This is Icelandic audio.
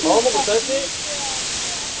Jú það hlýtur að vera.